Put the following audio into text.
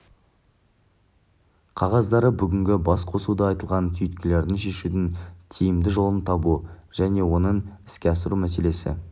қағаздары бүгінгі бас қосуда айтылған түйткілдерді шешудің тиімді жолын табу және оны іске асыру мәселесі